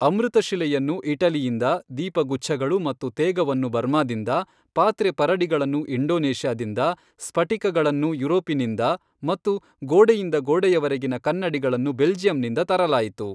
ಅಮೃತಶಿಲೆಯನ್ನು ಇಟಲಿಯಿಂದ, ದೀಪಗುಚ್ಛಗಳು ಮತ್ತು ತೇಗವನ್ನು ಬರ್ಮಾದಿಂದ, ಪಾತ್ರೆಪರಡಿಗಳನ್ನು ಇಂಡೋನೇಷ್ಯಾದಿಂದ, ಸ್ಫಟಿಕಗಳನ್ನು ಯುರೋಪಿನಿಂದ ಮತ್ತು ಗೋಡೆಯಿಂದ ಗೋಡೆಯವರೆಗಿನ ಕನ್ನಡಿಗಳನ್ನು ಬೆಲ್ಜಿಯಂನಿಂದ ತರಲಾಯಿತು.